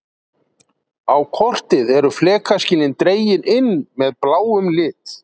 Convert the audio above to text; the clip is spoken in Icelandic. Á kortið eru flekaskilin dregin inn með bláum lit.